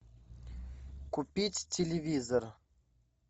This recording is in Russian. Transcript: купить телевизор